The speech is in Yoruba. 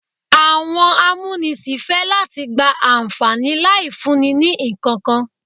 Àwọn amúnisìn fẹ́ láti gba àǹfàní láì fúnni ní ìkankan.